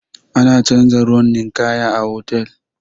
Ana canza ruwan ninkaya a hotal.